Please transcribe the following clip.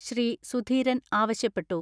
ശ്രീ. സുധീരൻ ആവശ്യപ്പെട്ടു.